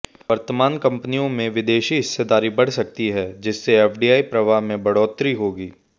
वर्तमान कंपनियों में विदेशी हिस्सेदारी बढ़ सकती है जिससे एफडीआई प्रवाह में बढ़ोतरी होगी